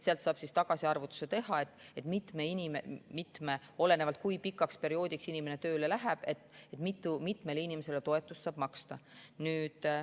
Sealt saab siis tagasiarvutuse teha, olenevalt sellest, kui pikaks perioodiks inimesed tööle lähevad, et kui mitmele inimesele toetust saab maksta.